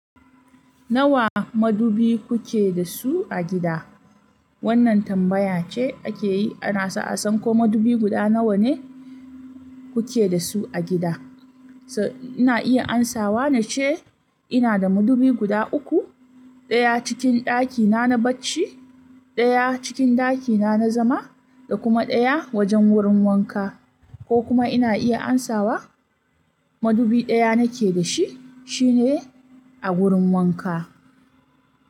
Nawa madubi kuke da su a gida? Wannan tambaya ce ake yi ana so a san ko madubi guda nawa ne kuke da su a gida. Na iya amsawa na ce ina da madubi guda uku, ɗaya cikin ɗakina na bacci, ɗaya cikin ɗakina na zama da kuma ɗaya wajen wurin wanka. Ko kuma ina iya amsawa madubi ɗaya nake da shi, shi ne a wurin wanka.